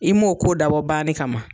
I m'o ko dabɔ banni kama